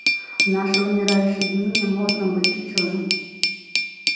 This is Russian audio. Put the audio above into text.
в наши умирающие дни не модно быть учёным